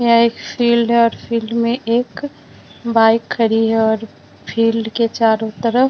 यह एक फील्ड है और फील्ड में एक बाइक खड़ी है और फील्ड के चारों तरफ --